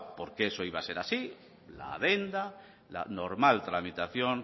porque eso iba a ser así la adenda la normal tramitación